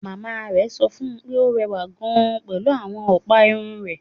Màmá rẹ̀ sọ fún un pé ó rẹwà gan-an pẹ̀lú àwọn ọ̀pá irun rẹ̀